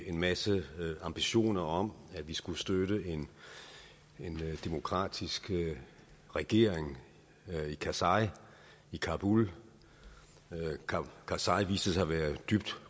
en masse ambitioner om at vi skulle støtte en demokratisk regering med karzai i kabul karzai viste sig at være dybt